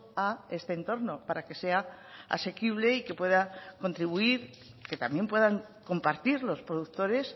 a este entorno para que sea asequible y que pueda contribuir que también puedan compartir los productores